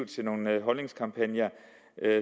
til nogle holdningskampagner